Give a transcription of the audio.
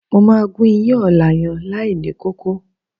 Mo máa gún iyán ọ̀la yẹn láìní kókó.